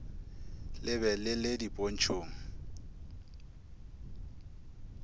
le be le le dipontšhong